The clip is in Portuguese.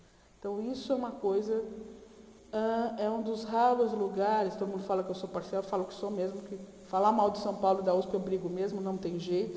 Então, isso é uma coisa, hã é um dos raros lugares, todo mundo fala que eu sou parcial, eu falo que sou mesmo, porque falar mal de São Paulo e da usp eu brigo mesmo, não tem jeito.